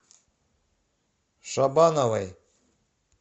шабановой